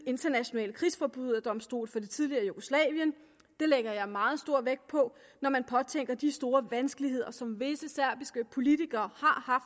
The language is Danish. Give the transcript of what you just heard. internationale krigsforbryderdomstol for det tidligere jugoslavien det lægger jeg meget stor vægt på når man påtænker de store vanskeligheder som visse serbiske politikere har